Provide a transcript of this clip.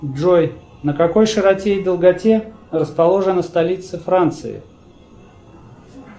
джой на какой широте и долготе расположена столица франции